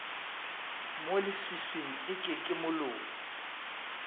mo leswiswing eke ke moloi